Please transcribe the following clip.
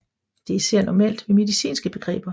Det er især normalt ved medicinske begreber